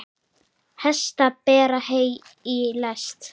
Hestar bera hey í lest.